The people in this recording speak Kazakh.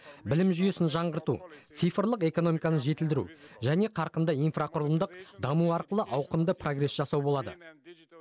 білім жүйесін жаңғырту цифрлық экономиканы жетілдіру және қарқынды инфрақұрылымдық даму арқылы ауқымды прогресс жасау болады